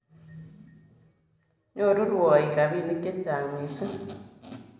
Nyoru rwoik ropinik che chang mising